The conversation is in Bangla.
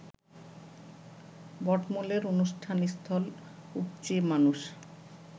বটমূলের অনুষ্ঠানস্থল উপচে মানুষ